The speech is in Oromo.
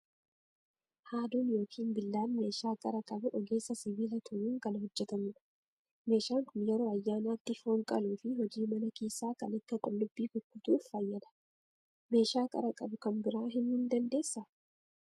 Haaduun yookiin billaan meeshaa qara qabu ogeessa sibiila tumuun kan hojjetamudha. Meeshaan kun yeroo ayyaanaatti foon qaluu fi hojii mana keessaa kan akka qqullubbii kukkutuuf fayyada. Meeshaa qara qabu kan biraa himuu ni dandeessaa?